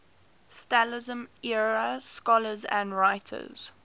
stalinism era scholars and writers